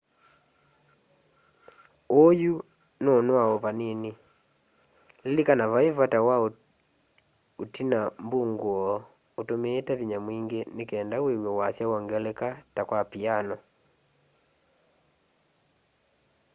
uu yu nûûnoa o vanini. lilikana vai vata wa utina mbunguo utumiite vinya mwingi nikenda wîw'e wasya wongeleka ta kwa piano